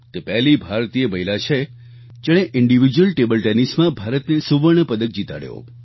તે પહેલી ભારતીય મહિલા છે જેણે ઇન્ડિવિડ્યુઅલ ટેબલ ટેનિસ માં ભારતને સુવર્ણ પદક જીતાડ્યો